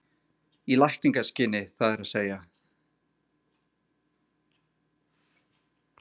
Í lækningaskyni það er að segja?